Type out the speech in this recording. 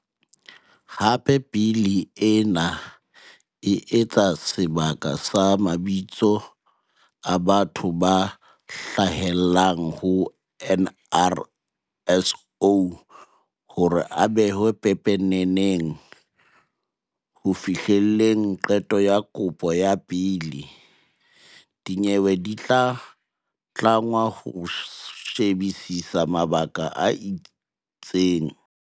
Hape Bili ena e etsa sebaka sa mabitso a batho ba hlahellang ho NRSO hore a behwe pepeneneng. Ho fihlelleng qeto ya kopo ya beili, dinyewe di tlangwa ho she-bisisa mabaka a itseng.